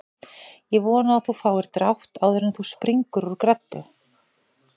Ég vona að þú fáir drátt áður en þú springur úr greddu